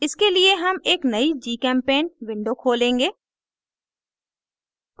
इसके लिए हम एक नयी gchempaint window खोलेंगे